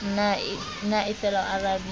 na e fela o arabile